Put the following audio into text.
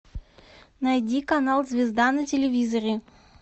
найди канал звезда на телевизоре